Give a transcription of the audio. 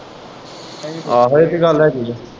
ਆਹੋ ਇਹ ਤੇ ਗੱਲ ਹੈਗੀ ਆ।